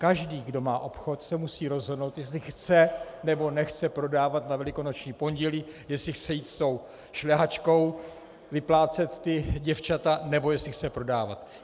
Každý, kdo má obchod, se musí rozhodnout, jestli chce, nebo nechce prodávat na Velikonoční pondělí, jestli chce jít s tou šlehačkou vyplácet ta děvčata, nebo jestli chce prodávat.